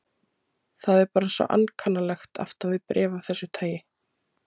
Það er bara svo ankannalegt aftan við bréf af þessu tagi.